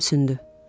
Gülümsündü.